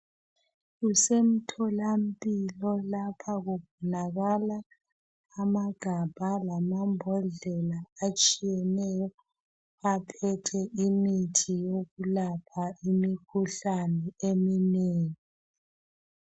Kusemtholampilo lapha kubonakala amagabha lama mbodlela atshiyeneyo aphethe imithi yokulapha imikhuhlane eminengi.